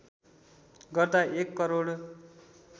गर्दा १ करोड